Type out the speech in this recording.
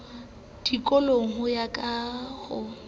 dikoloing ho ya ka ho